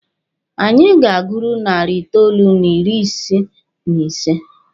Anyị ga-aguru narị itoolu n'ịrị ise n'ise.